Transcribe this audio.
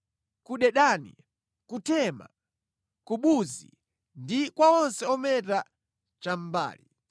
ku Dedani, ku Tema, ku Buzi ndi kwa onse ometa chamʼmbali.